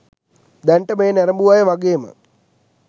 දැනට මෙය නැරඹූ අය වගේම